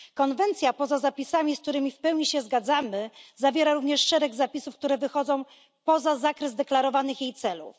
Konwencja poza zapisami, z którymi w pełni się zgadzamy, zawiera również szereg zapisów, które wychodzą poza zakres deklarowanych jej celów.